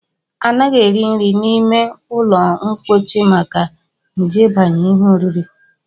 Anaghị eri nri n'ime ụlọmkpochi maka nje ịbanye n'ihe oriri